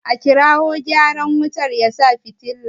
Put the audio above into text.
A kirawo gyaran wutar ya sa fitila!